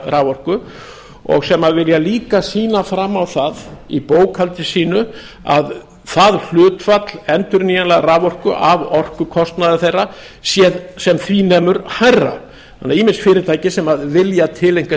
raforku og sem vilja líka sýna fram á það í bókhaldi sínu að það hlutfall endurnýjanlegrar raforku af orkukostnaði þeirra sé sem því miður hærra þannig að ýmis fyrirtæki sem vilja tileinka